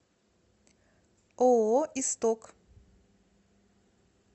ооо исток